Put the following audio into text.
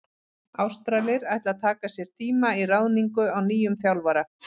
Ástralir ætla að taka sér tíma í ráðningu á nýjum þjálfara.